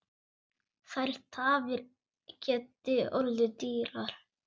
Þær tafir geti orðið dýrar.